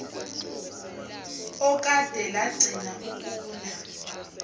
okade lagcina ukuna